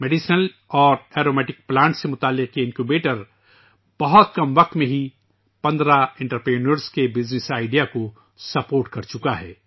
medical اور aromatic plant سے وابستہ اس انکیوبیٹر نے بہت کم وقت میں 15 کاروباری افراد کے کاروباری خیال کی تائید کر چکی ہے